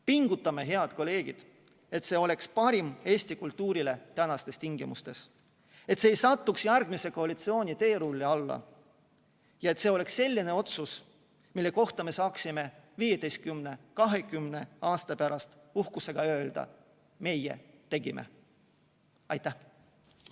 Pingutame, head kolleegid, et see oleks parim Eesti kultuurile tänastes tingimustes, et see ei satuks järgmise koalitsiooni teerulli alla ja see oleks selline otsus, mille kohta me saaksime 15 või 20 aasta pärast uhkusega öelda: meie tegime!